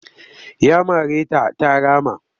Ya mare ta ta rama